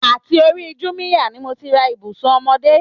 Àti òri Júmíyà ni mò ti rà Ibùsún ọ́mọ̀dẹ